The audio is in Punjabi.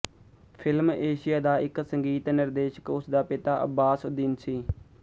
ਫਿਲਮ ਏਸ਼ੀਆ ਦਾ ਇੱਕ ਸੰਗੀਤ ਨਿਰਦੇਸ਼ਕ ਉਸ ਦਾ ਪਿਤਾ ਅੱਬਾਸ ਉੱਦੀਨ ਸੀ